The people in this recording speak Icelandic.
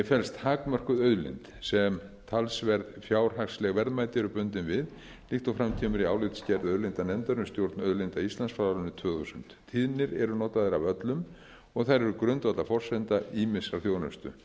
felst takmörkuð auðlind sem talsverð fjárhagsleg verðmæti eru bundin við líkt og fram kemur í álitsgerð auðlindanefndar um stjórn auðlinda íslands frá árinu tvö þúsund tíðnir eru notaðar af öllum og þær eru grundvallarforsenda ýmissar þjónustu